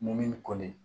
Mun koli